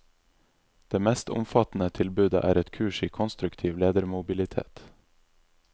Det mest omfattende tilbudet er et kurs i konstruktiv ledermobilitet.